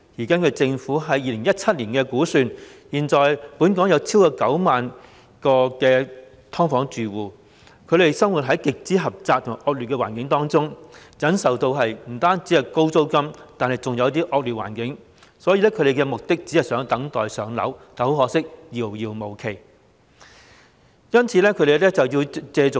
根據政府在2017年的估算，現時本港有超過9萬名"劏房"住戶，他們生活於極為狹窄及惡劣的環境中，不僅要忍受高昂的租金，還有惡劣的環境，所以他們的目標只是等待"上樓"，但可惜遙遙無期，令他們須倚重私人市場。